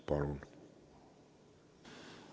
Palun!